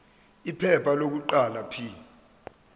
iphepha lokuqala p